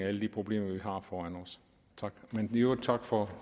alle de problemer vi har foran os men i øvrigt tak for